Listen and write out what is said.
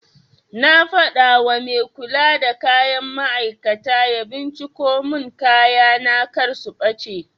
Na faɗawa mai kula da kayan matafiya ya binciko mun kayana kar su ɓace